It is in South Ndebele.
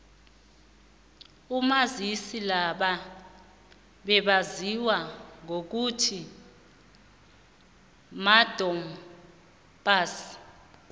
abomazisi laba bebaziwa ngokuthi madom pass